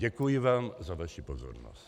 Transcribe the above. Děkuji vám za vaši pozornost.